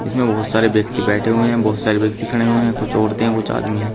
इसमें बहुत सारे व्यक्ति बैठे हुए हैं बहुत सारे व्यक्ति खड़े हुए हैं कुछ औरतें हैं कुछ आदमी हैं।